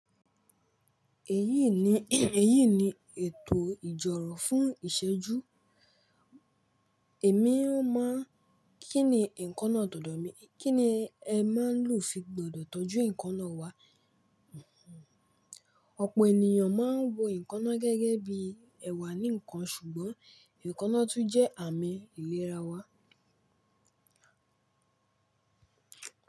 Èyí ni, èyí ni ètò ìjọ̀rọ̀ fún ìṣẹ́ju. Èmi máa ń kíni nǹkan náà tòdò mi, kíni ẹ máa ń lò fi gbọdọ̀ tọ́jú nǹkan náà wá. Ọ̀pọ̀ ènìyàn máa ń wo eekannáà gẹ́gẹ́ bí ẹwà nìkan, ṣùgbọ́n eekannáà tún jẹ́ àmì ìlera wa.